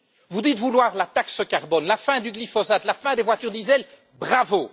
Vous dites vouloir la taxe carbone, la fin du glyphosate, la fin des voitures diesel, bravo!